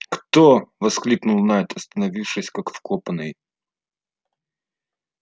кто воскликнул найд остановившись как вкопанный